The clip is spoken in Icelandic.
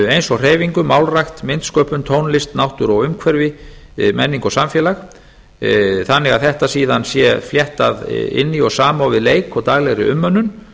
eins og hreyfingu málrækt myndsköpun tónlist náttúru og umhverfi menningu og samfélagi þannig að þetta sé síðan fléttað inn í og samofið leik daglegri umönnun